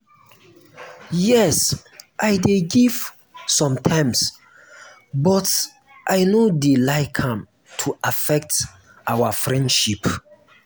yes i dey give sometimes but i no dey like am to affect our friendship.